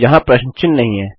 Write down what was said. वहाँ प्रश्न चिन्ह नहीं है